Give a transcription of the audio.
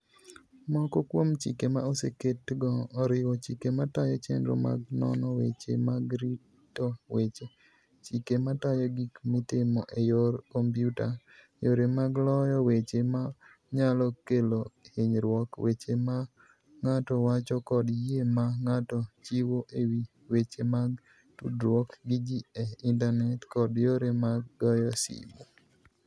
Moko kuom chike ma oseketgo oriwo chike matayo chenro mag nono weche mag rito weche, chike matayo gik mitimo e yor kompyuta, yore mag loyo weche ma nyalo kelo hinyruok, weche ma ng'ato wacho kod yie ma ng'ato chiwo e wi weche mag tudruok gi ji e intanet, kod yore mag goyo simu.